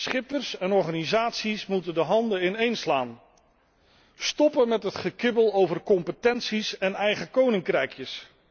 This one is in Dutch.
Schippers en organisaties moeten de handen ineenslaan, stoppen met het gekibbel over competenties en eigen koninkrijkjes.